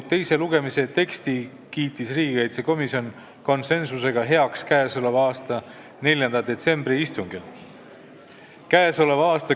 Teise lugemise teksti kiitis riigikaitsekomisjon konsensusega heaks 4. detsembri istungil.